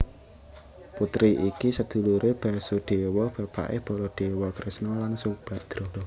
Putri iki seduluré Basudéwa bapaké Baladéwa Kresna lan Subadra